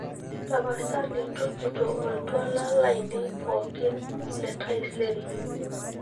tapasali tujuto oltwala lainei pookin le taisere